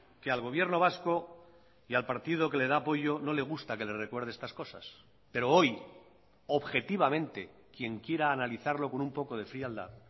que al gobierno vasco y al partido que le da apoyo no le gusta que le recuerde estas cosas pero hoy objetivamente quien quiera analizarlo con un poco de frialdad